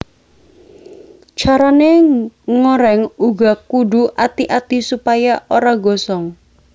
Carané ngoreng uga kudu ati ati supaya ora gosong